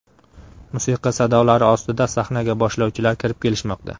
Musiqa sadolari ostida sahnaga boshlovchilar kirib kelishmoqda.